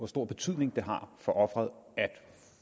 stor betydning for offeret at